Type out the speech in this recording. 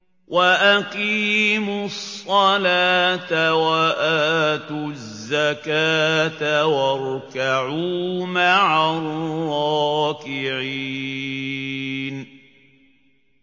وَأَقِيمُوا الصَّلَاةَ وَآتُوا الزَّكَاةَ وَارْكَعُوا مَعَ الرَّاكِعِينَ